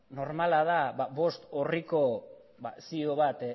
normala da bost orriko zio bat